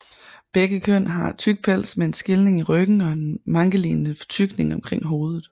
Begge køn har tyk pels med en skilning i ryggen og en mankelignende fortykning omkring hovedet